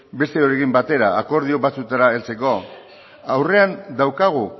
besteokin batera akordio batzuetara heltzeko aurrean daukagu